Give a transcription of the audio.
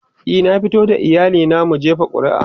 e na fito da iyali na mun jefa ƙuri'a